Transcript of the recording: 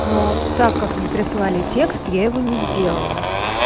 но так как не прислали текст я его не сделала